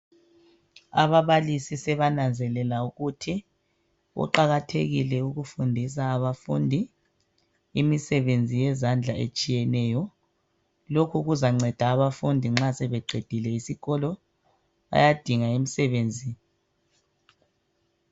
Ababalisi sebananzelela ukuthi kuqakathekile ukufundisa abafundi imisebenzi yezandla etshiyeneyo; lokhu kuzanceda abafundi nxa sebeqedile isikolo bayadinga imisebenzi